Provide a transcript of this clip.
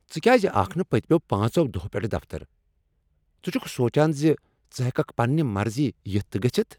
ژِ كیازِ آكھ نہٕ پٔتِمیو پانژو دۄہو پیٹھہٕ دفتر؟ ژٕ چُھكہٕ سونچان ژٕ ہیككھ پننہِ مرضی یِتھ تہٕ گژھِتھ ؟